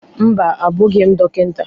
Mba, abụghị m dọkịta